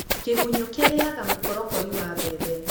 Kĩgunyũ kĩrĩa kĩriaga mũkorokori wa mbembe.